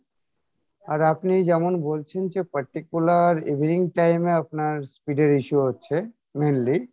আর আপনি যেমন বলেছেন যে particular evening time এ আপনার speed এর issue হচ্ছে mainly